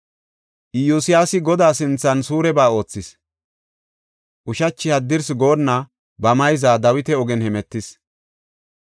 Iyosyaasi Godaa sinthan suureba oothis; ushachi haddirsi goonna ba mayza Dawita ogen hemetis.